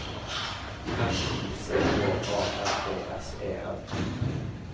R I C H A R D S E N